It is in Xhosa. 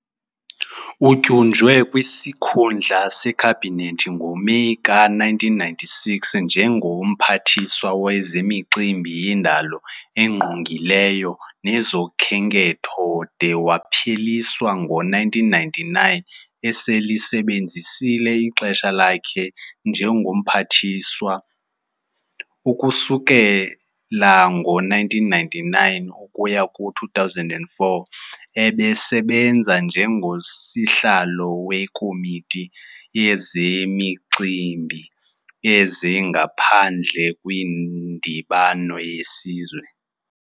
Utyunjwe kwisikhundla sekhabinet ngo-Meyi ka-1996, njengo-Mphathiswa Wezemicimbi Yendalo Engqongileyo Nezokhenketho de wapheliswa ngo-1999 eselisebenzisile ixesha lakhe njengomphathiswa. Ukusukela ngo-1999 ukuya ku-2004, ebesebenza njengo-Sihlalo weKomiti yezeMicimbi yezaNgaphandle kwiNdibano yesiZwe.